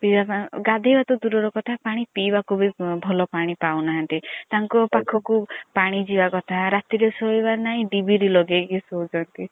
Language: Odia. ପିଇବା ପାଇଁ ଗାଧେଇବା ତ ଦୁର ର କଥା ପାଣି ପିଇବାକୁ ବି ଭଲ ପାଣି ପାଉନାହାନ୍ତି ତାଙ୍କୁ ପାଖକୁ ପାଣି ଯିବା କଥା ରାତି ରେ ସୋଇବାର ନାଇଁ ଦିବି ତି ଲଗିଏଇ ସୌଛନ୍ତି।